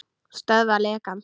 Stöðva lekann.